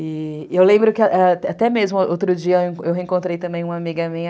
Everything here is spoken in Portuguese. E eu lembro que até mesmo outro dia eu reencontrei também uma amiga minha.